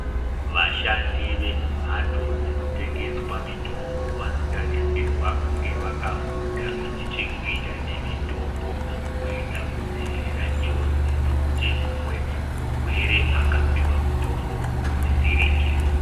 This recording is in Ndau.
Vashandi vemumhatso dzinotengeswe mitombo vanotarisirwa kunge vakafunda zvine chekuita nemitombo kuedza kudzivira njodzi dzekuti mumwe murwere akapihwe mitombo usiri iwo.